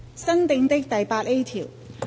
新訂的第 8A 條。